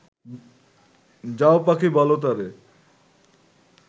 যাও পাখি বল তারে